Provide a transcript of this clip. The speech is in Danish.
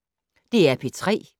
DR P3